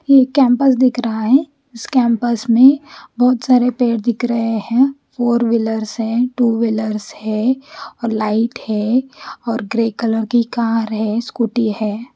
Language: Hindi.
ये केम्पस दिख रहा है इस केम्पस में बहोत सारे पेड़ दिख रहे है फोरवीलर्स है टू विल्लर्स है और लाइट है और ग्रे कलर की कार है स्कूटी है।